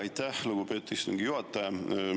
Aitäh, lugupeetud istungi juhataja!